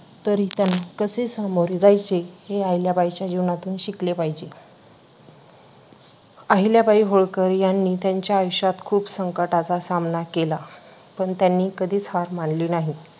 तरी पण कसे सामोरे जायचे हे अहिल्याबाईंच्या जीवनातून शिकले पाहिजे. अहिल्याबाई होळकर यांनी त्यांच्या आयुष्यात खूप संकटांचा सामना केला पण त्यांनी कधीच हार मानली नाही,